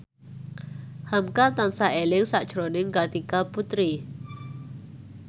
hamka tansah eling sakjroning Kartika Putri